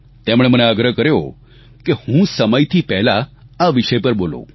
તેમણે મને આગ્રહ કર્યો છે કે હું સમયથી પહેલા આ વિષય પર બોલું